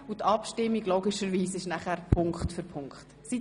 Die Abstimmung werde ich dann Punkt für Punkt vornehmen.